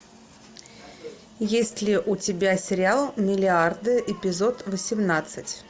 есть ли у тебя сериал миллиарды эпизод восемнадцать